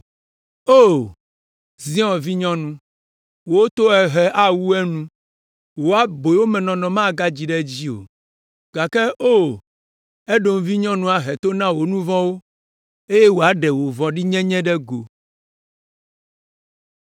O, Zion vinyɔnu, wò tohehe awu enu, wò aboyomenɔnɔ magadzi ɖe edzi o. Gake O, Edom vinyɔnu ahe to na wò nu vɔ̃wo eye wòaɖe wò vɔ̃ɖinyenye ɖe go.